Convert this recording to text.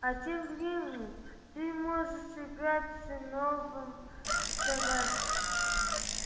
а тем временем ты можешь играть с новым собачкой